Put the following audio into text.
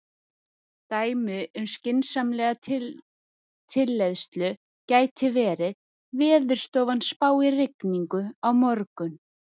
Dæmi um skynsamlega tilleiðslu gæti verið: Veðurstofan spáir rigningu á morgun.